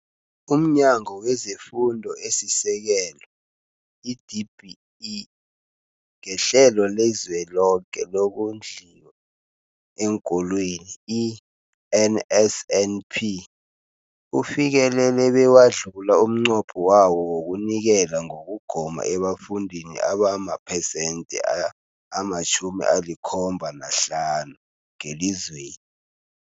UmNyango wezeFundo esiSekelo, i-DBE, ngeHlelo leliZweloke lokoNdliwa eenKolweni, i-NSNP, ufikelele bewadlula umnqopho wawo wokunikela ngokugoma ebafundini abamaphesenthe ama-75 ngelizwe